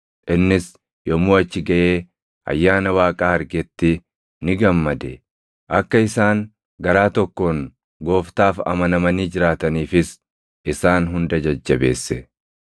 Innis yommuu achi gaʼee Ayyaana Waaqaa argetti ni gammade; akka isaan garaa tokkoon Gooftaaf amanamanii jiraataniifis isaan hunda jajjabeesse.